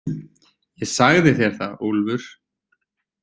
Ég sagði þér það, sagði Úlfur.